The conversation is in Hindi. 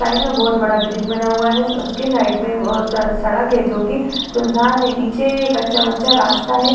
साइड में बहोत बड़ा ब्रिज बना हुआ है। उसके साइड में सड़क है जोकि सुनसान है। नीचे कच्चा-वच्चा रास्ता है।